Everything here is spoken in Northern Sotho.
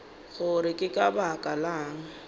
gore ke ka baka lang